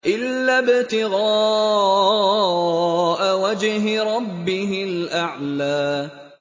إِلَّا ابْتِغَاءَ وَجْهِ رَبِّهِ الْأَعْلَىٰ